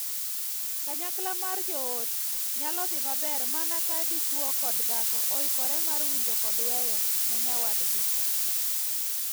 Kanyakla mar joot nyalo dhii maber mana ka dichwo kod dhako oikore mar winjo kod weyo ne nyawadgi.